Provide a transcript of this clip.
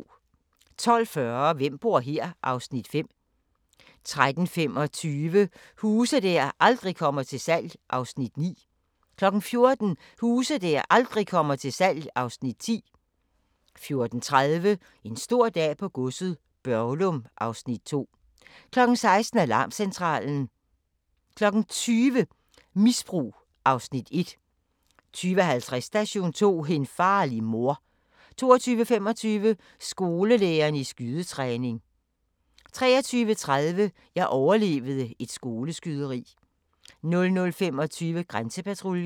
12:40: Hvem bor her? (Afs. 5) 13:25: Huse der aldrig kommer til salg (Afs. 9) 14:00: Huse der aldrig kommer til salg (Afs. 10) 14:30: En stor dag på godset - Børglum (Afs. 2) 16:00: Alarmcentralen 20:00: Misbrug (Afs. 1) 20:50: Station 2: En farlig mor 22:25: Skolelærere i skydetræning 23:30: Jeg overlevede et skoleskyderi 00:25: Grænsepatruljen